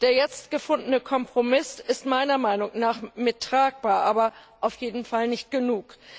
Der jetzt gefundene Kompromiss ist meiner Meinung nach tragbar, aber auf jeden Fall nicht genug.